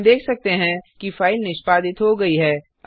हम देख सकते हैं कि फाइल निष्पादित हो गई है